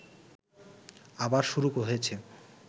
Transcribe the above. আবার শুরু হয়েছে